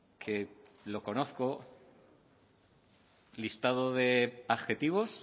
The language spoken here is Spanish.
que lo conozco listado de adjetivos